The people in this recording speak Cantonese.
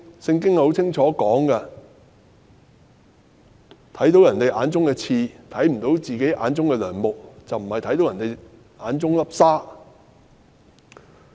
《聖經》清楚寫道，是看見別人眼中的刺，但卻看不見自己眼中的樑木而非沙。